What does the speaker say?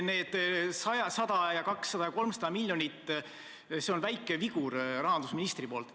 Need 100, 200 ja 300 miljonit on väike vigur rahandusministrilt.